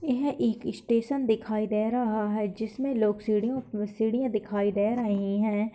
यह एक स्टेशन दिखाई दे रहा है जिसमें लोग सीढियों पे सीढियाँ दिखाई दे रही हैं।